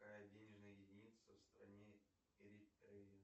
денежная единица в стране